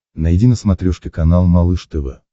найди на смотрешке канал малыш тв